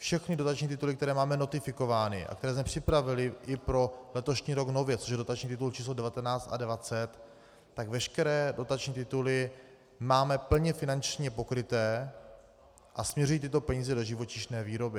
Všechny dotační tituly, které máme notifikovány a které jsme připravili i pro letošní rok nově, což je dotační titul číslo 19 a 20, tak veškeré dotační tituly máme plně finančně pokryté a směřují tyto peníze do živočišné výroby.